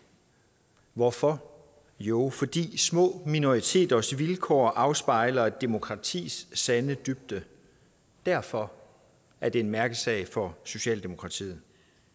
hvorfor jo fordi små minoriteters vilkår afspejler et demokratis sande dybde derfor er det en mærkesag for socialdemokratiet